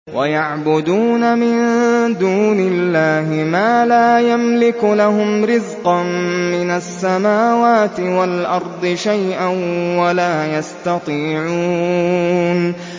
وَيَعْبُدُونَ مِن دُونِ اللَّهِ مَا لَا يَمْلِكُ لَهُمْ رِزْقًا مِّنَ السَّمَاوَاتِ وَالْأَرْضِ شَيْئًا وَلَا يَسْتَطِيعُونَ